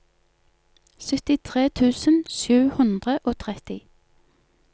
syttitre tusen sju hundre og tretti